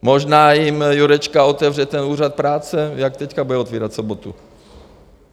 Možná jim Jurečka otevře ten úřad práce, jak teď bude otvírat v sobotu.